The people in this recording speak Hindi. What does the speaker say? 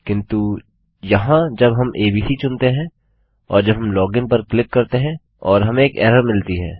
किन्तु यहाँ जब हम एबीसी चुनते हैं और जब हम लॉगिन पर क्लिक करते हैं और हमें एक एरर मिलती है